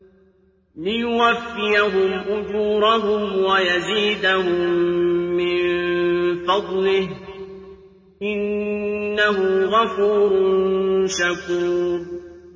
لِيُوَفِّيَهُمْ أُجُورَهُمْ وَيَزِيدَهُم مِّن فَضْلِهِ ۚ إِنَّهُ غَفُورٌ شَكُورٌ